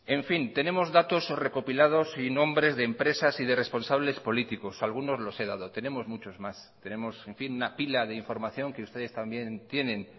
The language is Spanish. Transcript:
en fin tenemos datos recopilados y nombres de empresas y de responsables políticos algunos los he dado tenemos muchos más tenemos una pila de información que ustedes también tienen